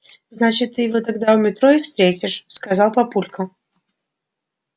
значит ты его тогда у метро и встретишь сказал папулька